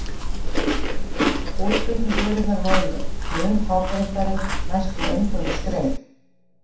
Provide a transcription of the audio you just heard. Útflutningsvörurnar voru mun fábreyttari, næstum eingöngu skreið.